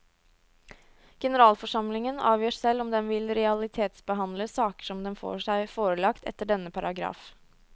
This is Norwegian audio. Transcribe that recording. Generalforsamlingen avgjør selv om den vil realitetsbehandle saker som den får seg forelagt etter denne paragraf.